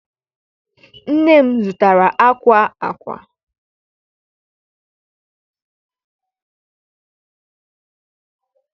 Nne m zụtara akwa akwa.